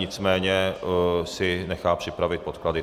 Nicméně si nechá připravit podklady.